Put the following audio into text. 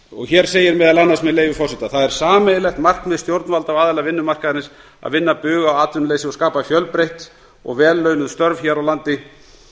og hér segir meðal annars með leyfi forseta það er sameiginlegt markmið stjórnvalda og aðila vinnumarkaðarins að vinna bug á atvinnuleysi og skapa fjölbreytt og vel launuð störf hér á landi